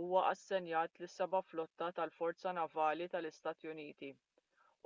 huwa assenjat lis-seba' flotta tal-forza navali tal-istati uniti